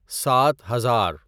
سات ہزار